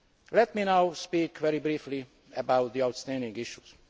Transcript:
Let me now speak very briefly about the outstanding issues.